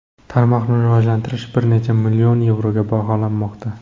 Tarmoqni rivojalantirish bir necha million yevroga baholanmoqda.